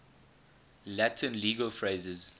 latin legal phrases